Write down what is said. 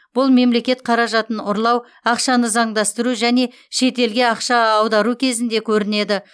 бұл мемлекет қаражатын ұрлау ақшаны заңдастыру және шетелге ақша аудару кезінде көрінеді